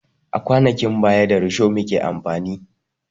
A kwanakin baya da risho muke amfani